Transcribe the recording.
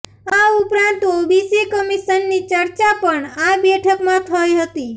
આ ઉપરાંત ઓબીસી કમીશનની ચર્ચા પણ આ બેઠકમાં થઈ હતી